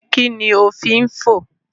Kí ni o fín fò?